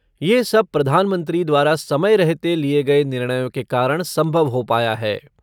ये सब प्रधानमंत्री द्वारा समय रहते लिए गए निर्णयों के कारण सम्भव हो पाया है।